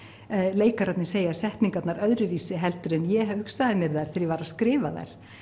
leikararnir segja setningarnar öðruvísi heldur en ég hugsaði mér þær þegar ég var að skrifa þær